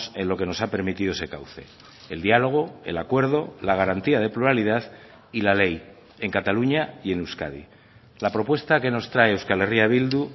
en lo que nos ha permitido ese cauce el diálogo el acuerdo la garantía de pluralidad y la ley en cataluña y en euskadi la propuesta que nos trae euskal herria bildu